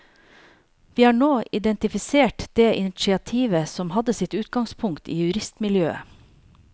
Vi har nå identifisert det initiativet som hadde sitt utgangspunkt i juristmiljøet.